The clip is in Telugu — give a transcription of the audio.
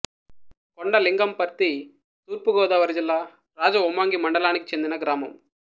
కొండలింగంపర్తి తూర్పు గోదావరి జిల్లా రాజవొమ్మంగి మండలానికి చెందిన గ్రామం